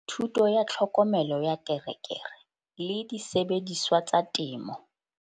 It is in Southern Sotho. Thuto ya Tlhokomelo ya Terekere le Disebediswa tsa Temo.